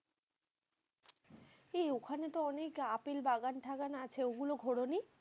এই ওখানে তো অনেক আপেল বাগান টাগান আছে। গুলো ঘোরোনি?